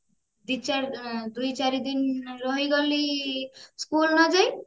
ଦୁଇ ଚାରିଦିନ ରହିଗଲି school ନଯାଇ